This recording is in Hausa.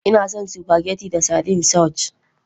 Ina son spaghetti da sardine sauce.